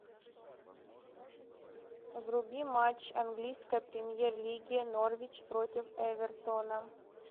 вруби матч английской премьер лиги норвич против эвертона